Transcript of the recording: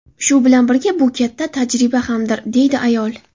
Shu bilan birga bu katta tajriba hamdir”, deydi ayol.